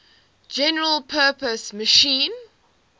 general purpose machine